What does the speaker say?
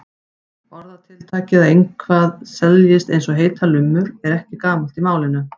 Orðatiltækið að eitthvað seljist eins og heitar lummur er ekki gamalt í málinu.